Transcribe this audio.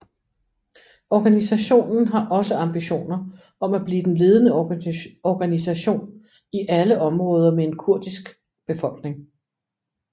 Organisationen har også ambitioner om at blive den ledende organisation i alle områder med en kurdisk befolkning